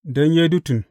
Don Yedutun.